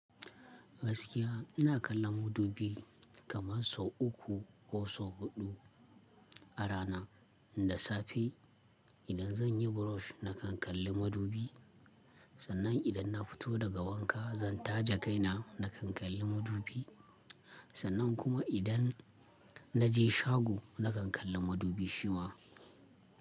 Gaskiya, ina kallon madubi kamar sau uku, ko sau huɗu, a rana. Inda safe, idan zan yi brush, na kan kalli madubi. Sannan idan na fito daga wanka, zan taje kai na, na kan kalli madubi. Sannan kuma idan, na je shago, na kan kalli madubi shi ma.